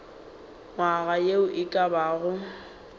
nywaga ye e ka bago